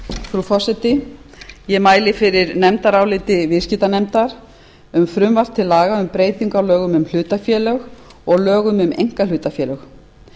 frú forseti ég mæli fyrir nefndaráliti viðskiptanefndar um frumvarp til laga um breytingu á lögum um hlutafélög og lögum um einkahlutafélög